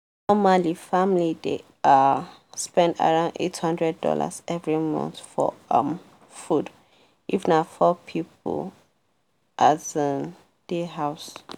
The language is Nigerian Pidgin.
normal family dey um spend around eight hundred dollars every month for um food if na four people um dey house.